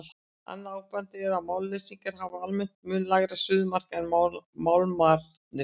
Annað áberandi er að málmleysingjarnir hafa almennt mun lægra suðumark en málmarnir.